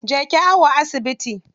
Je ki awo a asibiti.